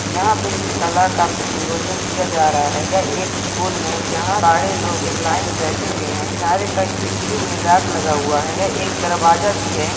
यहाँ पर कुछ कला का प्रयोजन किया जा रहा है यह एक स्कूल में जहाँ सारे लोग एक लाइन बैठे हुए हैं किनारे साइड खिड़की में रॉड लगा हुआ है यह एक दरवाजा भी है।